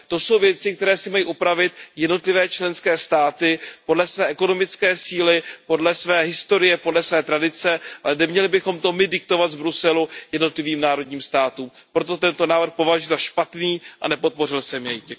to jsou věci, které si mají upravit jednotlivé členské státy podle své ekonomické síly, podle své historie, podle své tradice, ale neměli bychom to my diktovat z Bruselu jednotlivým národním státům. Proto tento návrh považuji za špatný a nepodpořil jsem jej.